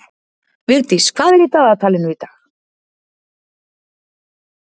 Vigdís, hvað er í dagatalinu í dag?